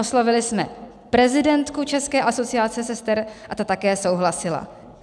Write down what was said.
Oslovili jsme prezidentku České asociace sester a ta také souhlasila.